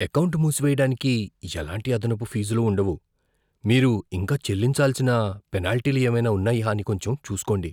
Account మూసేయడానికి ఎలాంటి అదనపు ఫీజులు ఉండవు. మీరు ఇంకా చెల్లించాల్సిన పెనాల్టీలు ఏవైనా ఉన్నాయా అని కొంచెం చూస్కోండి.